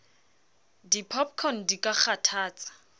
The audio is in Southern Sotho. di popcorn di ka kgathatsa